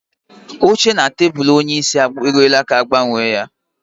Oche na tebụl onyeisi e ruola ka a ga-agbanwe ya